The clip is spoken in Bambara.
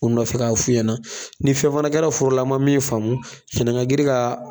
Kun dɔ fɛ k'a f'u ɲɛnɛ ni fɛn fana kɛra forola n ma min faamu san'an ga girin ga